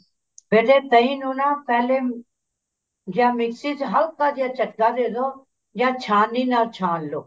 ਬੇਟੇ ਦਹੀਂ ਨੂੰ ਨਾ ਪਹਿਲੇ ਜਾਂ ਮਿਕਸੀ ਚ ਹਲਕਾ ਜਿਹਾ ਝਟਕਾ ਦੇਦੋ ਜਾਂ ਛਾਣਨੀ ਨਾਲ ਛਾਣ ਲੋ